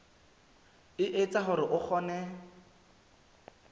e etsa hore o kgone